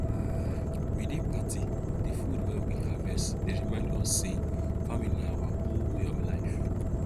we dey party de food wey we harvest dey remind us say farming na our whole way of life